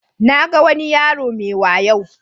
Na ga wani yaro mai wayo.